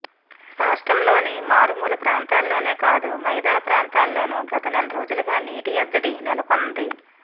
రాష్ట్రంలోని మారుమూల ప్రాంతాల్లోనే కాదు మైదాన ప్రాంతాల్లోనూ గత నెలరోజులుగా నీటి ఎద్దడి నెలకొన్నంది